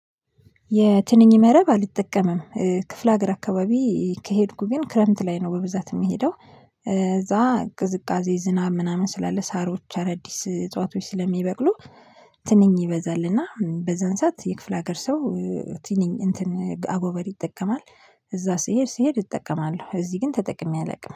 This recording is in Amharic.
የትንኝ መረብ አልጠቀምም። ክፍለ ሀገር አካባቢ ከሄድኩ ግን ክረምት ላይ ነው በብዛት የምሄደው። እዛ ቅዝቃዜ ዝናብ ምናምን ስላለ ሳሮች አዳዲስ እጽዋቶች ስለሚበቅሉ። ትንኝ ይበዛልና በዛን ሰዓት የክፍለ ሀገር ሰው ትንኝ እንትን አጎበር ይጠቀማል። እዛ ስሄድ ስሄድ እጠቀማለሁ እዚህ ግን ተጠቅሜ አላውቅም